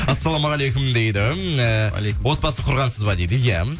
ассалаумағалейкум дейді ііі отбасын құрғансыз ба дейді иә